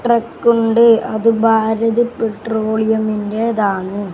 ട്രക്കുണ്ട് അത് ഭാരത് പെട്രോളിയമിന്റേതാണ് .